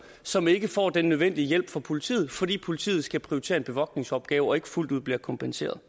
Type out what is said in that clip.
som ikke får den nødvendige hjælp fra politiet fordi politiet skal prioritere en bevogtningsopgave og ikke fuldt ud bliver kompenseret